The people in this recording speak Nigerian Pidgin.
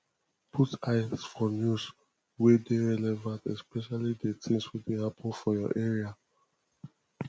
put eye for news wey dey relevant especially di things wey dey happen for your area